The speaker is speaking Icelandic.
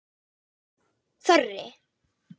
Þorri